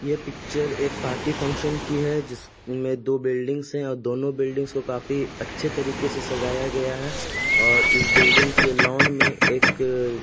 ये पिक्चर एक party function की है। जिसमें दो बिल्डिंग है। दोनों बिल्डिंगस काफी अच्छे तरीके से सजाया गया है और इस बिल्डिंग के लॉन में एक --